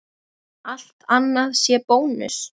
Allt annað sé bónus?